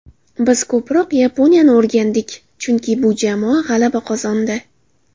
Biz ko‘proq Yaponiyani o‘rgandik, chunki bu jamoa g‘alaba qozondi.